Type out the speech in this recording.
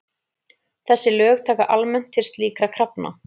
Þessi lög taka almennt til slíkra krafna.